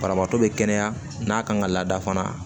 Banabaatɔ be kɛnɛya n'a kan ka lada fana